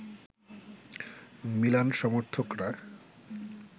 Milan সমর্থকরা